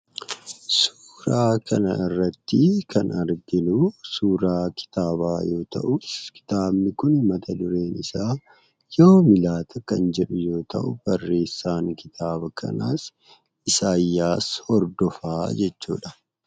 Suuraa kana irratti kan arginu suuraa kitaabaa yoo ta'u, suuraan kun mata-dureen isaa "Yoomi Laata" kan jedhu yoo ta'u, barreessaan kitaaba kanaas Isaayyaas Hordofaadha.